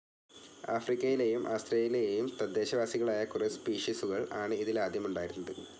ആഫ്രിക്കയിലേയും ആസ്ത്രേലിയയിലേം തദ്ദേശവാസികളായ കുറെ സ്പീഷിസുകൾ ആണ് ഇതിൽ ആദ്യം ഉണ്ടായിരുന്നത്.